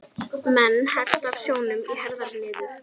menn, herta af sjónum, í herðar niður.